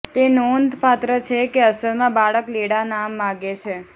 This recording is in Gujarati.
તે નોંધપાત્ર છે કે અસલમાં બાળક લેડા નામ માગે છે